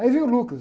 Aí veio o Lucas.